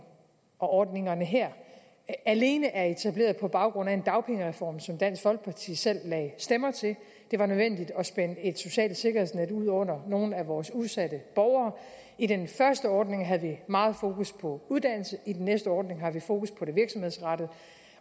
og ordningerne her alene er etableret på baggrund af en dagpengereform som dansk folkeparti selv lagde stemmer til det var nødvendigt at spænde et socialt sikkerhedsnet ud under nogle af vores udsatte borgere i den første ordning havde vi meget fokus på uddannelse i den næste ordning har vi fokus på det virksomhedsrettede